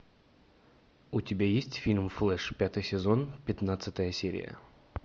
у тебя есть фильм флеш пятый сезон пятнадцатая серия